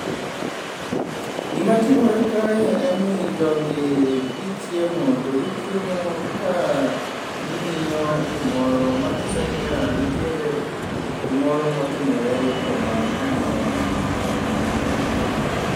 Gimatimore kae en ni jogi gichiemo to gichiemo ka ging'iyo gimoro, mang'iso niya nitiere gimoro motimore yo koma ging'iyo no .